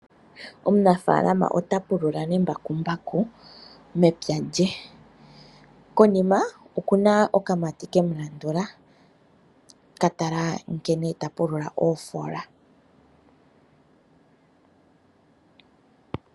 Omunafaalama ota pulula nembakumbaku mepya lye. Konima, oku na okamati ke mu landula, ka tala nkene ta pulula oofoola.